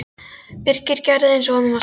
Birkir gerði eins og honum var sagt.